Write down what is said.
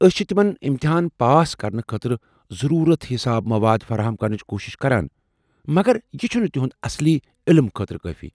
أسۍ چھ تِمن امتحان پاس کرنہٕ خٲطرٕ ضرورت حساب مواد فراہم کرنٕچ کوُشِش کران، مگر یہ چھٗنہٕ تہنٛدِ اصلی علم خٲطرٕ کٲفی۔